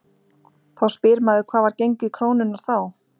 Þá spyr maður hvað var gengið krónunnar þá?